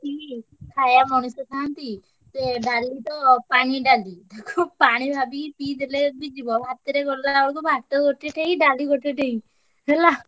ହୁଁ ଖାୟା ମଣିଷ ଖାଆନ୍ତି ଇଏ ଡାଲି ତ ପାଣି ଡାଲି ପାଣି ଭାବିକି ପିଇ ଦେଲେ ବି ଯିବ। ଭାତରେ ଗୋଳିଲା ବେଳକୁ ଭାତ ଗୋଟେ ଠେଇଁ ଡାଲି ଗୋଟେ ଠେଇଁ ହେଲା।